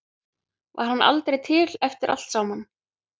Var hann aldrei til eftir allt saman?